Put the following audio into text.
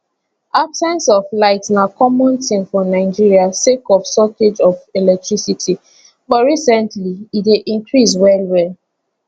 absence of light na common tin for nigeria sake of shortage of electricity but recently e dey increase well well